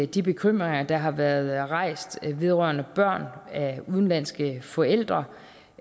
de bekymringer der har været rejst vedrørende børn af udenlandske forældre